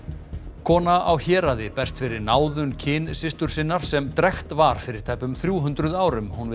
kona á Héraði berst fyrir náðun kynsystur sinnar sem drekkt var fyrir tæpum þrjú hundruð árum hún vill